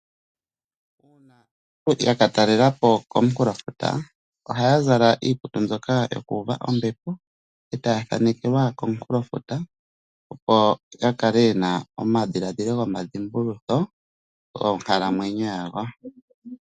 Uuna aantu yaka talela po komunkulofuta ohaya zala iikutu mbyoka yoku uva ombepo etaya thanekelwa komunkulofuta opo ya kale ye na omadhiladhilo gomadhimbulutho gonkalamweyo yawo.